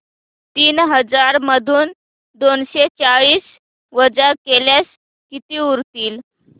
तीन हजार मधून दोनशे चाळीस वजा केल्यास किती उरतील